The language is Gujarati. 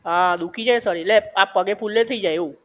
હા દુખી જાય શરીર લે આ પગે ફુલે થઈ જાઇ એવું